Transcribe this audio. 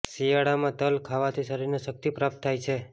શિયાળામાં તલ ખાવાથી શરીરને શક્તિ પ્રાપ્ત થાય છે